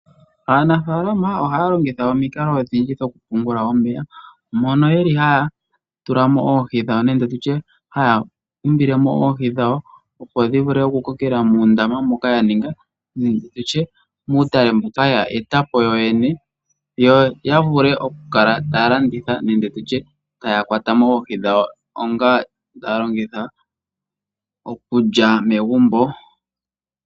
Aanafaalama ohaya longitha omikalo odhindji dhoku pungula omeya, mono ye li haa tulamo oohi dhawo nenge haya umbile mo oohi dhawo, opo dhi vule oku kokela mo muundama mboka ya eta po yo yene, yo ya vule oku landitha nenge ya lye megumbo.